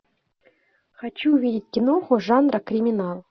хочу увидеть киноху жанра криминал